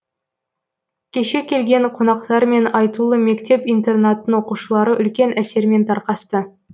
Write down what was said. кешке келген қонақтармен айтулы мектеп интернаттың оқушылары үлкен әсермен тарқасты